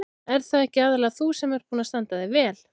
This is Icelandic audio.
Ert það ekki aðallega þú sem ert búin að standa þig vel?